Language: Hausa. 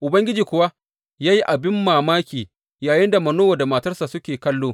Ubangiji kuwa ya yi abin mamaki yayinda Manowa da matarsa suke kallo.